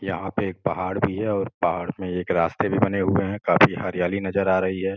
यहाँ पे एक पहाड़ भी है और पहाड़ में एक रास्ते भी बने हुए हैं। काफी हरियाली नज़र आ रही है।